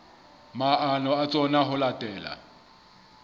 maano a tsona ho latela